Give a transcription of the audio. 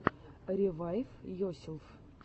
ревайвйоселф